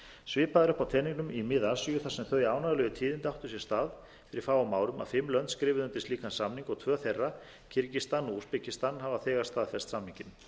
svipað er uppi á teningnum í mið asíu þar sem þau ánægjulegu tíðindi áttu sér stað fyrir fáum árum að fimm lönd skrifuðu undir slíkan samning og tvö þeirra kirgisistan og úsbekistan hafa þegar staðfest samninginn